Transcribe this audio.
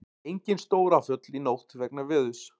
Engin stóráföll í nótt vegna veðurs